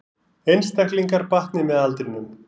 Einstaklingar batni með aldrinum